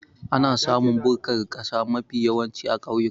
Ana samun bukkar kasa mafi yawanci a kauyuka